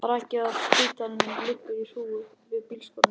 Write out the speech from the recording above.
Brakið af spítalanum liggur í hrúgu við bílskúrana.